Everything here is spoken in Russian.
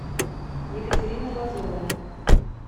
екатерина лазовая